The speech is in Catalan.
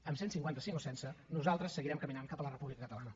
amb cent i cinquanta cinc o sense nosaltres seguirem caminant cap a la república catalana